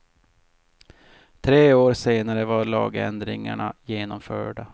Tre år senare var lagändringarna genomförda.